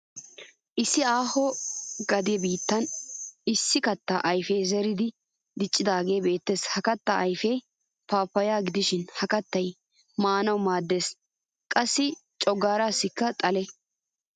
Issi ahho gade biittan issi katta ayfee zeriidi diccidaagee beettes. Ha kattaa ayfee paappayaa gidishin ha kattay maanawu maaddes qassi coggaaraassikka xale.